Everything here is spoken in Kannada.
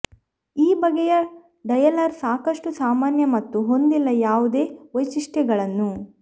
ಈ ಬಗೆಯ ಡಯಲರ್ ಸಾಕಷ್ಟು ಸಾಮಾನ್ಯ ಮತ್ತು ಹೊಂದಿಲ್ಲ ಯಾವುದೇ ವೈಶಿಷ್ಟ್ಯಗಳನ್ನು